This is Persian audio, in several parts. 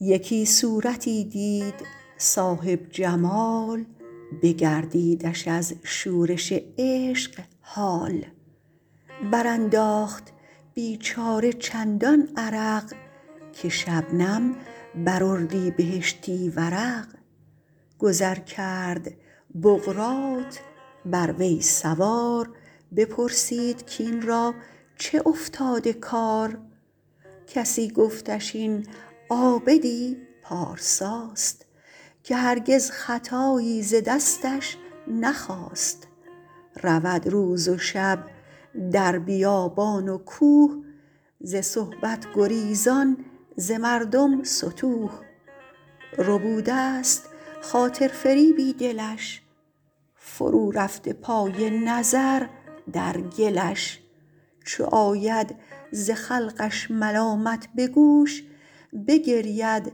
یکی صورتی دید صاحب جمال بگردیدش از شورش عشق حال بر انداخت بیچاره چندان عرق که شبنم بر اردیبهشتی ورق گذر کرد بقراط بر وی سوار بپرسید کاین را چه افتاده کار کسی گفتش این عابد ی پارسا ست که هرگز خطایی ز دستش نخاست رود روز و شب در بیابان و کوه ز صحبت گریزان ز مردم ستوه ربوده ست خاطر فریبی دلش فرو رفته پای نظر در گلش چو آید ز خلقش ملامت به گوش بگرید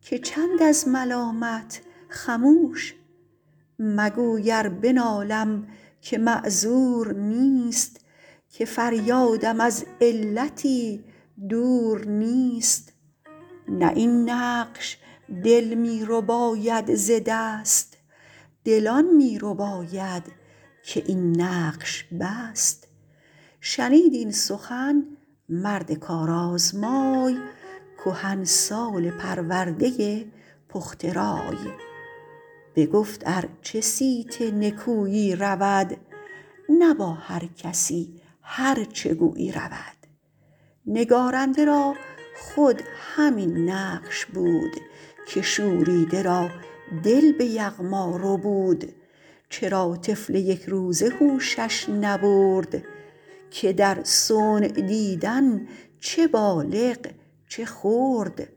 که چند از ملامت خموش مگوی ار بنالم که معذور نیست که فریاد م از علتی دور نیست نه این نقش دل می رباید ز دست دل آن می رباید که این نقش بست شنید این سخن مرد کار آزمای کهنسال پرورده پخته رای بگفت ار چه صیت نکویی رود نه با هر کسی هر چه گویی رود نگارنده را خود همین نقش بود که شوریده را دل به یغما ربود چرا طفل یک روزه هوشش نبرد که در صنع دیدن چه بالغ چه خرد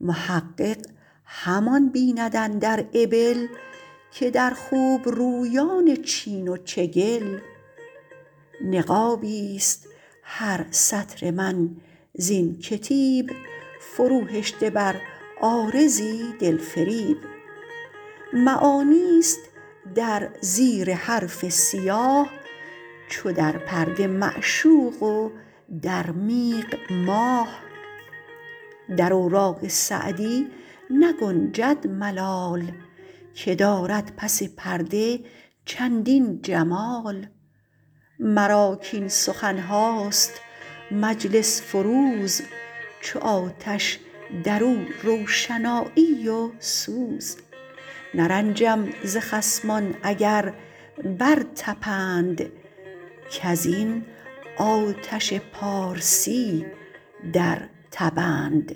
محقق همان بیند اندر ابل که در خوبرویان چین و چگل نقابی است هر سطر من زین کتیب فرو هشته بر عارضی دل فریب معانی است در زیر حرف سیاه چو در پرده معشوق و در میغ ماه در اوراق سعدی نگنجد ملال که دارد پس پرده چندین جمال مرا کاین سخن هاست مجلس فروز چو آتش در او روشنایی و سوز نرنجم ز خصمان اگر بر تپند کز این آتش پارسی در تبند